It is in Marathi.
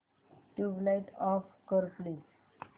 ट्यूबलाइट ऑफ कर प्लीज